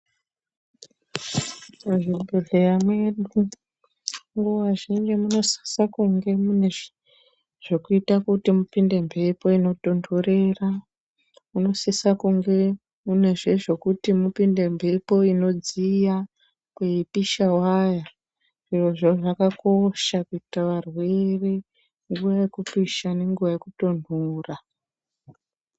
Muzvibhedhleya mwedu, nguwa zhinji munosise kunge mune zvekuita kuti mupinde mphepo inotontorera. Munosisa kunge munezve zvekuti mupinde mphepo inodziya kweipisha waya. Zvirozvo zvakakosha kuitira varwere, nguwa yekupisha nenguwa yekutonhora.